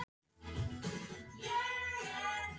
Pjatti kom til mín fyrir sex árum.